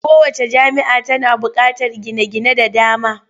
Kowacce jami'a tana buƙatar gine-gine da dama.